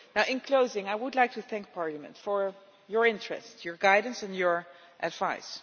In closing, I would like to thank Parliament for your interest, your guidance and your advice.